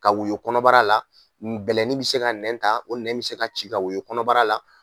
Ka woyɔ kɔnɔbara la bɛlɛnin bɛ se ka nɛn ta o nɛn bɛ se ka ci ka woyo kɔnɔbara la